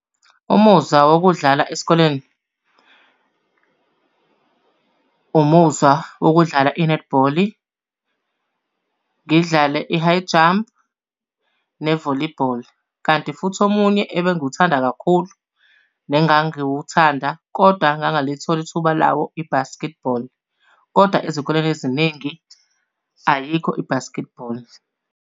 Umuzwa wokudlala esikoleni, umuzwa wokudlala i-netball, ngidlale i-high jump, ne-volleyball. Kanti futhi omunye ebengiwuthanda kakhulu, nengangiwuthanda kodwa angangalitholi ithuba lawo i-basketball. Kodwa ezikoleni eziningi ayikho i-basketball.